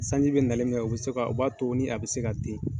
Sanji bɛ nali min kɛ o bɛ se ka, o b'a to nin a bɛ se ka den